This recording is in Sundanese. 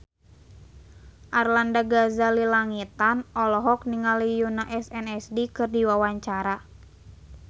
Arlanda Ghazali Langitan olohok ningali Yoona SNSD keur diwawancara